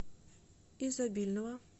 изобильного